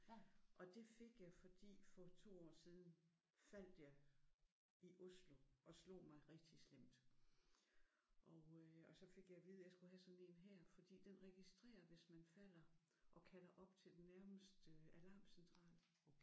Ja og det fik jeg fordi for 2 år siden faldt jeg i Oslo og slog mig rigtig slemt og øh og så fik jeg at vide at jeg skulle have sådan en her fordi den registrerer hvis man falder og kalder op til den nærmeste alarmcentral